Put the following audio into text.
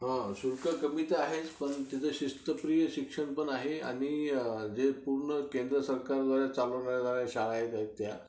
हा, शुल्क कमी तर आहेच पण तिथं शिस्तप्रिय शिक्षण पण आहे आणि पूर्ण केंद्र सरकारद्वारे चालवल्या जाणाऱ्या शाळा आहेत त्या